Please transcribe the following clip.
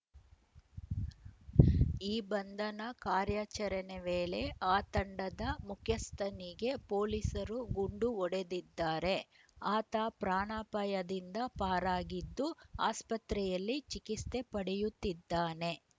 ಈ ಬಂಧನ ಕಾರ್ಯಾಚರಣೆ ವೇಳೆ ಆ ತಂಡದ ಮುಖ್ಯಸ್ಥನಿಗೆ ಪೊಲೀಸರು ಗುಂಡು ಹೊಡೆದಿದ್ದಾರೆ ಆತ ಪ್ರಾಣಪಾಯದಿಂದ ಪಾರಾಗಿದ್ದು ಆಸ್ಪತ್ರೆಯಲ್ಲಿ ಚಿಕಿತ್ಸೆ ಪಡೆಯುತ್ತಿದ್ದಾನೆ